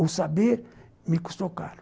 Ou saber me custou caro.